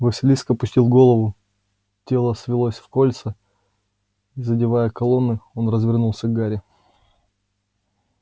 василиск опустил голову тело свилось в кольца и задевая колонны он развернулся к гарри